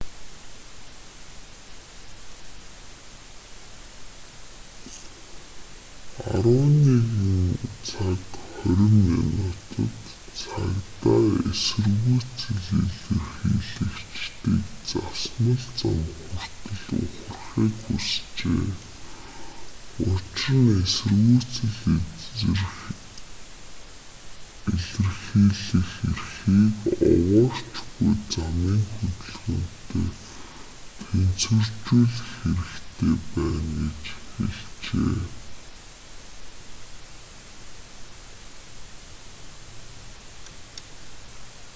11:20 цагт цагдаа эсэргүүцэл илэрхийлэгчдийг засмал зам хүртэл ухрахыг хүсжээ учир нь эсэргүүцэл илэрхийлэх эрхийг овоорч буй замын хөдөлгөөнтэй тэнцвэржүүлэх хэрэгтэй байна гэж хэлжээ